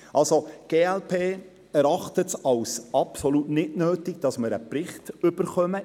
Die glp erachtet es als absolut unnötig, in zwei Jahren einen Bericht zu erhalten.